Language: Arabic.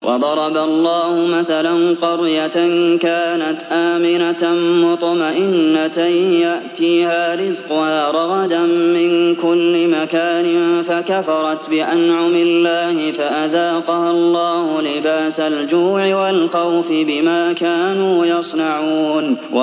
وَضَرَبَ اللَّهُ مَثَلًا قَرْيَةً كَانَتْ آمِنَةً مُّطْمَئِنَّةً يَأْتِيهَا رِزْقُهَا رَغَدًا مِّن كُلِّ مَكَانٍ فَكَفَرَتْ بِأَنْعُمِ اللَّهِ فَأَذَاقَهَا اللَّهُ لِبَاسَ الْجُوعِ وَالْخَوْفِ بِمَا كَانُوا يَصْنَعُونَ